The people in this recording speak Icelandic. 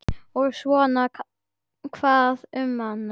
Og svona hvað um annað: